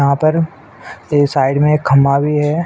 यहाँ पर ए साइड में एक खंभा भी है।